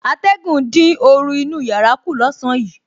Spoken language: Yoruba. Atẹ̀gùn dín oru inú yàrá kù lọ́sàn-án yìí